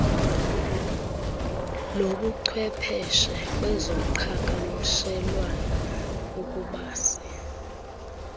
lobuchwepeshe kwezoqhakamshelwano ukubasi